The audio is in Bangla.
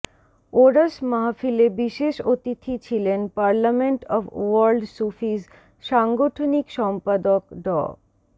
ওরস মাহফিলে বিশেষ অতিথি ছিলেন পার্লামেন্ট অব ওয়ার্ল্ড সূফীজ সাংগঠনিক সম্পাদক ড